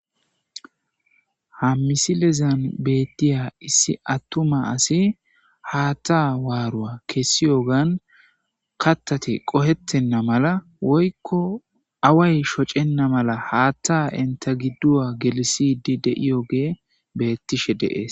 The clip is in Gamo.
Hammisilezan beettiya issi attuma asi haatta waaruwa kessi yogan kattate qohettenna mala woykko away shocenna mala haatta inta gidduwa gelisidi deiyoge beettishe deees.